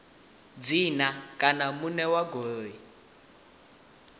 dzina kana muṋe wa goloi